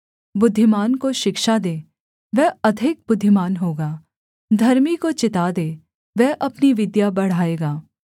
बुद्धिमान को शिक्षा दे वह अधिक बुद्धिमान होगा धर्मी को चिता दे वह अपनी विद्या बढ़ाएगा